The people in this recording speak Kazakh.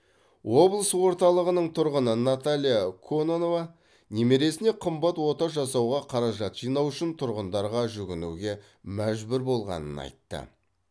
облыс орталығының тұрғыны наталья кононова немересіне қымбат ота жасауға қаражат жинау үшін тұрғындарға жүгінуге мәжбүр болғанын айтты